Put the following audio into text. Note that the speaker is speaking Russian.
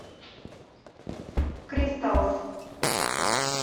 кристалс